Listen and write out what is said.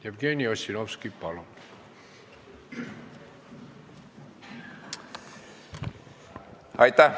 Jevgeni Ossinovski, palun!